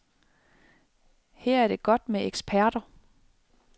Her er det godt med eksperter.